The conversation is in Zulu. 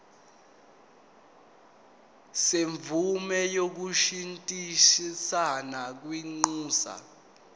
semvume yokushintshisana kwinxusa